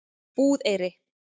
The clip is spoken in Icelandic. Búðareyri